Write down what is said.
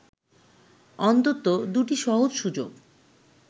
অন্তত দু’টি সহজ সুযোগ